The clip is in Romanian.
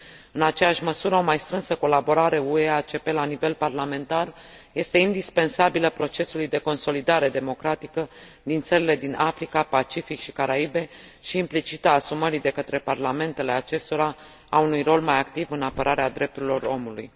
În aceeași măsură, o mai strânsă colaborare UE ACP la nivel parlamentar este indispensabilă procesului de consolidare democratică din țările din Africa, Pacific și Caraibe și, implicit, a asumării de către parlamentele acestora a unui rol mai activ în apărarea drepturilor omului.